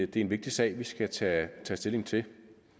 det er en vigtig sag vi skal tage stilling til